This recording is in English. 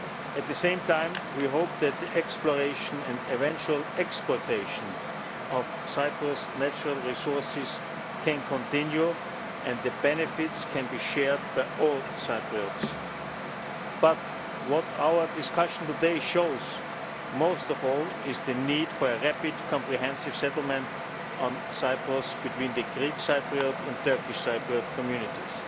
At the same time we hope that the exploration and eventual exploitation of Cyprus's natural resources can continue and the benefits can be shared by all Cypriots. But what our discussion today shows most of all is the need for a rapid, comprehensive settlement on Cyprus between the Greek Cypriot and Turkish Cypriot communities.